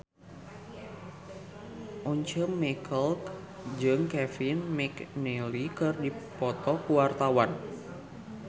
Once Mekel jeung Kevin McNally keur dipoto ku wartawan